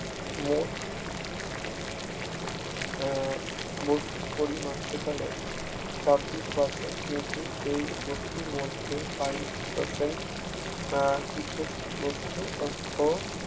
মোট আহ বস্তুর পরিমাণ সেখানে ছাব্বিশ percent কিন্তু এই বস্তুর মধ্যেবা ইশ percent আহ বিশেষ বস্তু ও